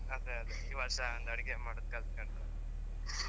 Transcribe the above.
ಅದೇ ಅದೇ ಈ ವರ್ಷ ಒಂದ್ ಅಡಿಗೆ ಮಾಡುದ್ ಕಲ್ತ್ಕಂಡ್ರೆ easy ಆಗ್ತದೆ.